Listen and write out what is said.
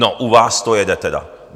No, u vás to jede tedy!